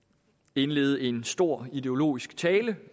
indlede en stor ideologisk tale